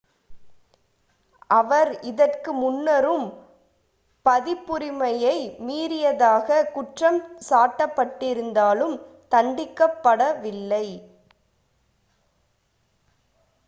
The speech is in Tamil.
அவர் இதற்கு முன்னரும் பதிப்புரிமையை மீறியதாக குற்றம் சாட்டப்பட்டிருந்தாலும் தண்டிக்கப் படவில்லை